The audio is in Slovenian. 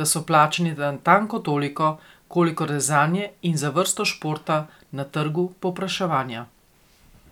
da so plačani natanko toliko, kolikor je zanje in za vrsto športa na trgu povpraševanja.